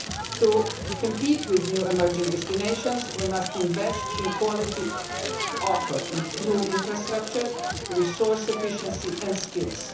To compete with new emerging destinations were must invest in high quality offerings and improve infrastructure, resource efficiency and skills.